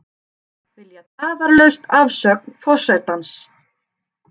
Vilja tafarlausa afsögn forsetans